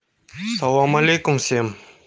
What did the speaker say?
салам алейкум всем